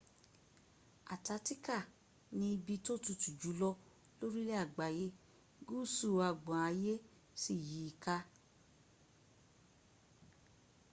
artatica ni ibi tó tutu jùlọ lórí ilè agbáyé gúúsú agbọn ayé sí yìí ka